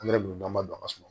Angɛrɛ donn'a dɔ a ka so